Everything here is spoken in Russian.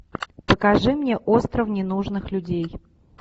покажи мне остров ненужных людей